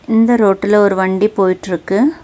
இந்த ரோட்டுல ஒரு வண்டி போயிட்ருக்கு.